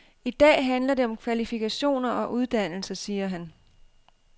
I dag handler det om kvalifikationer og uddannelse, siger han.